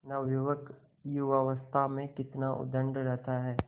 नवयुवक युवावस्था में कितना उद्दंड रहता है